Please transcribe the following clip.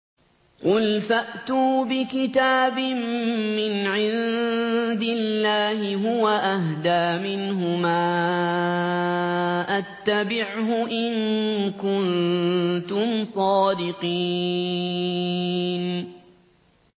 قُلْ فَأْتُوا بِكِتَابٍ مِّنْ عِندِ اللَّهِ هُوَ أَهْدَىٰ مِنْهُمَا أَتَّبِعْهُ إِن كُنتُمْ صَادِقِينَ